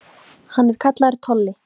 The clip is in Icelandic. Hann er kallaður Tolli.